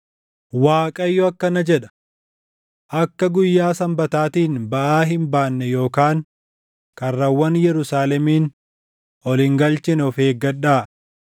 Waaqayyo akkana jedha: Akka guyyaa Sanbataatiin baʼaa hin baanne yookaan karrawwan Yerusaalemiin ol hin galchine of eeggadhaa.